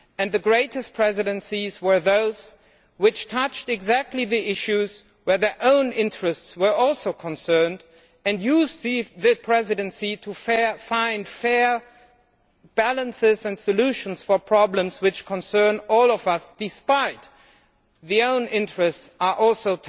The greatest presidencies were those which touched on exactly those issues where their own interests were also involved and used the Presidency to find fair balances and solutions for problems which concern all of us, despite their own interests also